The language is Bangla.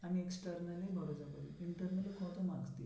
আমি external এ internal কত marks দিয়েছে